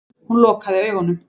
Hún lokaði augunum.